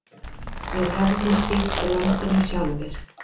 Við hefðum stýrt landinu sjálfir.